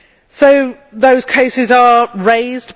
So those cases are raised.